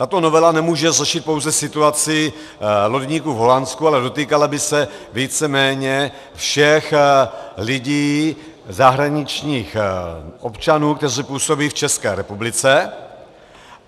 Tato novela nemůže řešit pouze situaci lodníků v Holandsku, ale dotýkala by se víceméně všech lidí, zahraničních občanů, kteří působí v České republice.